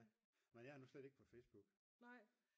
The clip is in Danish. men jeg er nu slet ikke på Facebook